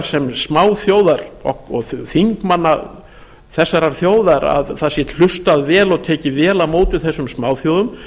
sem smáþjóðar og þingmanna þessara þjóðar að það sé hlustað vel og tekið vel á móti þessum smáþjóðum